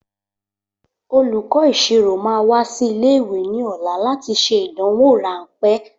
Olùkọ́ ìṣirò máa wá sí ilé ìwé ní ọ̀la láti ṣe ìdánwò rànpé